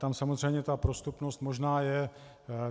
Tam samozřejmě ta prostupnost možná je.